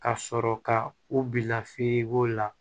Ka sɔrɔ ka u bila la